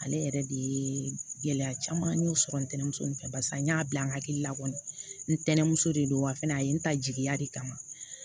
Ale yɛrɛ de ye gɛlɛya caman y'o sɔrɔ ntɛnɛmuso nin fɛ barisa n y'a bila an hakili la kɔni ntɛnɛmuso de don wa fɛnɛ a ye n ta jigiya de kama